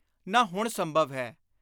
ਨਾ ਹੁਣ ਸੰਭਵ ਹੈ।